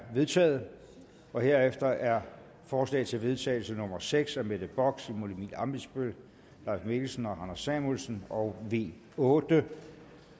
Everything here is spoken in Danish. vedtaget herefter er forslag til vedtagelse nummer v seks af mette bock simon emil ammitzbøll leif mikkelsen og anders samuelsen og v otte